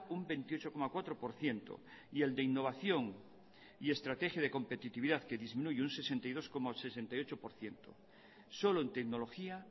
un veintiocho coma cuatro por ciento y el de innovación y estrategia de competitividad que disminuye un sesenta y dos coma sesenta y ocho por ciento solo en tecnología